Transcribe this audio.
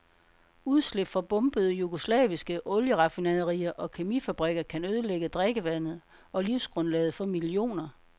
Udslip fra bombede jugoslaviske olieraffinaderier og kemifabrikker kan ødelægge drikkevandet og livsgrundlaget for millioner.